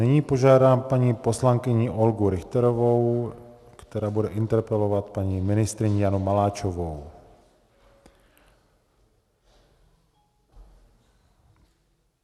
Nyní požádám paní poslankyni Olgu Richterovou, která bude interpelovat paní ministryní Janu Maláčovou.